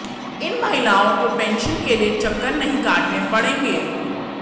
इन महिलाओं को पेंशन के लिए चक्कर नहीं काटने पड़ेंगे